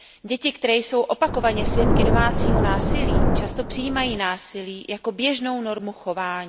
Děti, které jsou opakovaně svědky domácího násilí, často přijímají násilí jako běžnou normu chování.